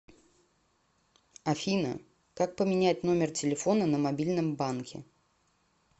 афина как поменять номер телефона на мобильном банке